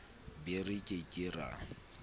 be re ke ke ra